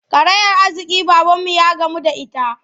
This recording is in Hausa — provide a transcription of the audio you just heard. Karayar arziƙi babanmu ya gamu da ita.